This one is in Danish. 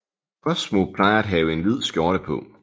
Cosmo plejer at have en hvid skjorte på